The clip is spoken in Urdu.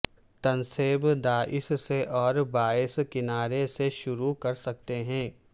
تنصیب دائیں سے اور بائیں کنارے سے شروع کر سکتے ہیں